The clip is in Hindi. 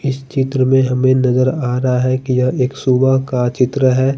इस चित्र में हमे नज़र आरहा है की यह एक सुबह का चित्र है।